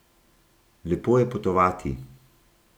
Lepo je potovati.